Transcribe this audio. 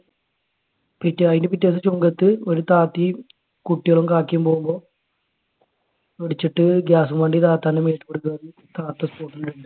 പിറ്റേ അതിന്റെ പിറ്റേ ദിവസം ചുങ്കത്ത് ഒരു താത്തിയും കുട്ടികളും കാക്കയും പോകുമ്പോ ഇടിച്ചിട്ട് gas വണ്ടി താത്താന്റെ മേത്തുകൂടെ കേറി. താത്ത spot ഇൽ തീർന്ന്.